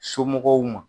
Somɔgɔw ma